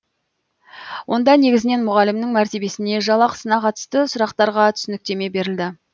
онда негізінен мұғалімнің мәртебесіне жалақысына қатысты сұрақтарға түсініктеме берілді